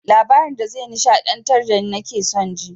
Labarin da ze nishaɗantar dani nake son ji